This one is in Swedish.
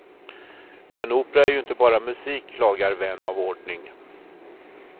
Men opera är ju inte bara musik klagar vän av ordning.